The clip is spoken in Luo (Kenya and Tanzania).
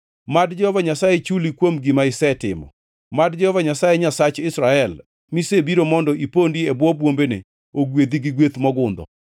Mad Jehova Nyasaye chuli kuom gima isetimo. Mad Jehova Nyasaye Nyasach Israel, misebiro mondo ipondi e bwo bwombene, ogwedhi gi gweth mogundho.”